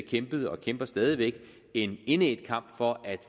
kæmpet og kæmper stadig væk en indædt kamp for at